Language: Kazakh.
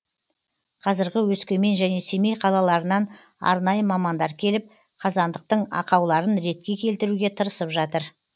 қазіргі өскемен және семей қалаларынан арнайы мамандар келіп қазандықтың ақауларын ретке келтіруге тырысып жатыр